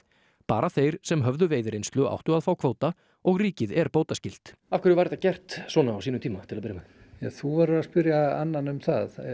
bara þeir sem höfðu veiðireynslu áttu að fá kvóta og ríkið er bótaskylt af hverju var þetta gert svona á sínum tíma til að byrja með ja þú verður að spyrja annan um það